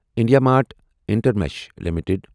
IndiaMART Intermesh limited